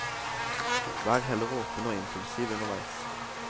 Vær heller åpen og impulsiv underveis.